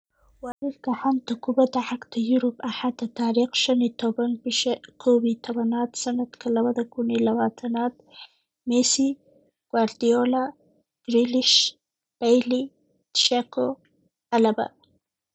Wararka xanta kubada cagta Yurub Axada tariq shan iyo toban, bisha kow iyo tobnad, sanadka labada kun iyo labatanad: Messi, Guardiola, Grealish, Bailly, Dzeko, Alaba